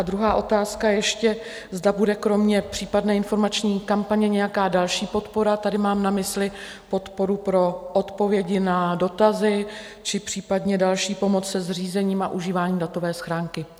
A druhá otázka ještě, zda bude kromě případné informační kampaně nějaká další podpora - tady mám na mysli podporu pro odpovědi na dotazy či případně další pomoc se zřízením a užíváním datové schránky.